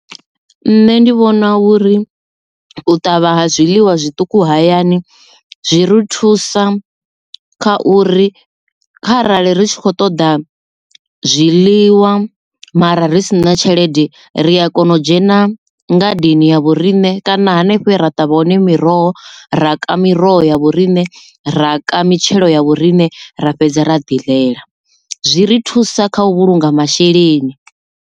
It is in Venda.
Nṋe ndi vhona uri u ṱavha ha zwiḽiwa zwiṱuku hayani zwi ri thusa kha uri kharali ri tshi khou ṱoḓa zwiḽiwa mara ri si na tshelede ri a kona u dzhena ngadeni ya vhoriṋe kana hanefho he ra ṱavha hone miroho ra ka miroho ya vhoriṋe ra ka mitshelo ya vhoriṋe ra fhedze ra ḓi ḽela zwi ri thusa kha u vhulunga masheleni.